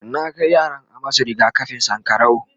na Kai yaran a masu rigakafin sankarau